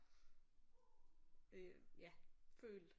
Øh ja følt